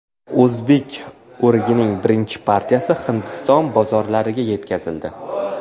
O‘zbek o‘rigining birinchi partiyasi Hindiston bozorlariga yetkazildi.